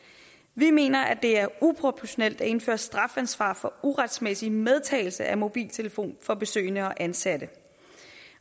vi mener at det er uproportionalt at indføre strafansvar for uretmæssig medtagelse af mobiltelefon for besøgende og ansatte